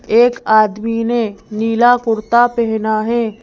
एक आदमी ने नीला कुर्ता पहना है।